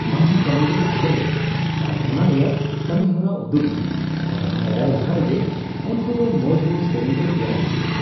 ᱟᱢᱦᱚᱸ ᱠᱟᱹᱢᱤ ᱨᱮ ᱟᱸᱲᱜᱳᱜ ᱢᱮ ᱟᱨ ᱚᱱᱟ ᱨᱮᱭᱟᱜ ᱠᱟᱹᱢᱤ ᱦᱚᱨᱟ ᱩᱫᱩᱜᱽ ᱢᱮ, ᱟᱨ ᱟᱢ ᱵᱟᱰᱟᱭ ᱞᱟᱦᱟᱨᱮ ᱜᱮ ᱩᱱᱠᱩ ᱫᱚ ᱢᱚᱡᱽ ᱢᱚᱡᱽ ᱥᱮᱨᱮᱧ ᱠᱚ ᱛᱮᱭᱟᱨ ᱤᱫᱤᱭᱟ ᱾